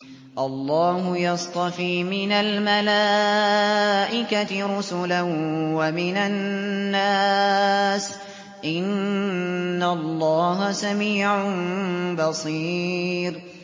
اللَّهُ يَصْطَفِي مِنَ الْمَلَائِكَةِ رُسُلًا وَمِنَ النَّاسِ ۚ إِنَّ اللَّهَ سَمِيعٌ بَصِيرٌ